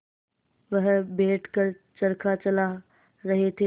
वह बैठ कर चरखा चला रहे थे